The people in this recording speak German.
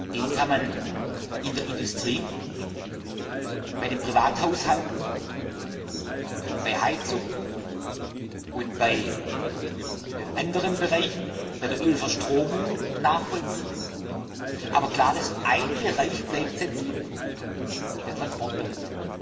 Den kann man in der Industrie, bei den Privathaushalten, bei Heizung und bei anderen Bereichen, bei der Ölverstromung nachvollziehen, aber klar ist, dass ein Bereich sensibel bleibt der Transportbereich.